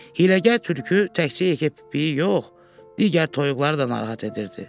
Hiyləgər tülkü təkcə yekəpipiyi yox, digər toyuqları da narahat edirdi.